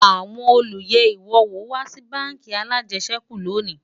àwọn olú yé iwọ wò wà Si bánkì alàjesèkú lóni